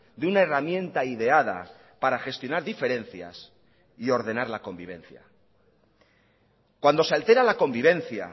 de una herramienta ideada para gestionar diferencias y ordenar la convivencia cuando se altera la convivencia